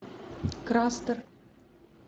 крастер